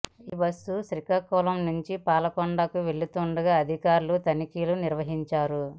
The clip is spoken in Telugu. ఈ బస్సు శ్రీకాకుళం నుంచి పాలకొండకు వెళుతుండగా అధికారులు తనిఖీలు నిర్వహించారు